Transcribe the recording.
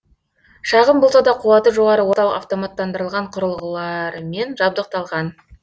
шағын болса да қуаты жоғары орталық автоматтандырылған құрылғыларымен жабдықталған